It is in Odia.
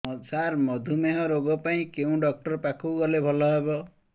ସାର ମଧୁମେହ ରୋଗ ପାଇଁ କେଉଁ ଡକ୍ଟର ପାଖକୁ ଗଲେ ଭଲ ହେବ